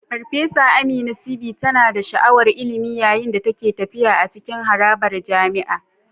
Farfesa Amina, VC, tana da sha'awar ilimi yayin da take tafiya a cikin harabar jami'a.